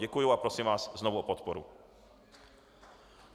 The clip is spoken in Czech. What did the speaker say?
Děkuji a prosím vás znovu o podporu.